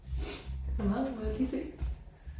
Der er meget må jeg lige se?